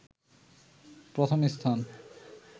প্রথম স্থান